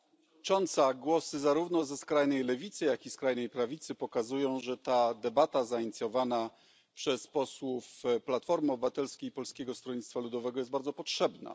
Pani Przewodnicząca! Głosy zarówno ze skrajnej lewicy, jak i skrajnej prawicy pokazują, że ta debata zainicjowana przez posłów Platformy Obywatelskiej i Polskiego Stronnictwa Ludowego jest bardzo potrzebna.